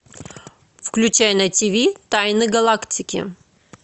включай на ти ви тайны галактики